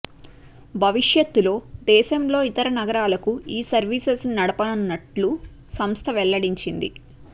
భవిష్యత్తులో దేశంలో ఇతర నగరాలకూ ఈ సర్వీసెస్ ను నడపనున్నట్లు సంస్థ వెల్లడించింది